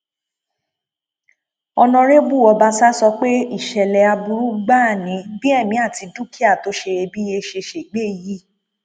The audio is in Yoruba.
ọnàrẹbù ọbaṣà sọ pé ìṣẹlẹ aburú gbáà ni bí èmi àti dúkìá tó ṣeyebíye ṣe ṣègbè yìí